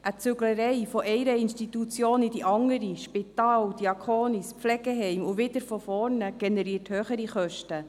Ein Umzug von einer Institution in die andere, vom Spital über das Diaconis bis ins Pflegeheim und wieder von vorne, generiert höhere Kosten.